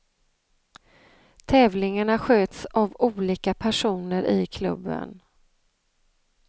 Tävlingarna sköts av olika personer i klubben.